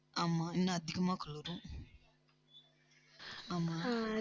ஆமா, இன்னும் அதிகமா குளிரும்.